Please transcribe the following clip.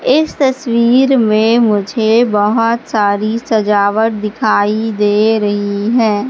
इस तस्वीर में मुझे बहोत सारी सजावट दिखाई दे रही है।